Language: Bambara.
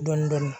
Dɔɔnin dɔɔnin